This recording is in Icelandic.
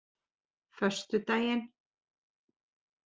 föstudaginn